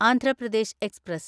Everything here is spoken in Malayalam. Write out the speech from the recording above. ആന്ധ്ര പ്രദേശ് എക്സ്പ്രസ്